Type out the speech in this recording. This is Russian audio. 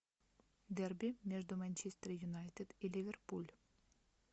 дерби между манчестер юнайтед и ливерпуль